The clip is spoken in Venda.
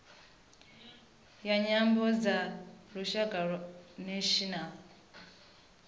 ya nyambo dza lushaka national